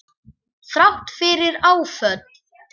Þrátt fyrir áföll.